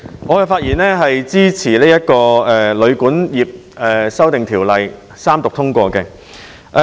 我發言支持《2018年旅館業條例草案》三讀通過。